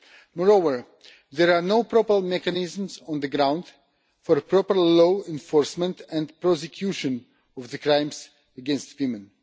Moreover, there are no proper mechanisms on the ground for proper law enforcement and prosecution of crimes against women.